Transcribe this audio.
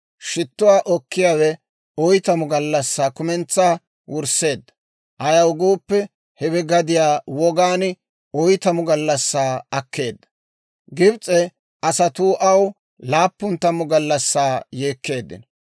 Shittuwaa okkiyaawe oytamu gallassaa kumentsaa wursseedda; ayaw gooppe, hewe gadiyaa wogaan oytamu gallassaa akkeedda. Gibs'e asatuu aw laappun tammu gallassaa yeekkeeddino.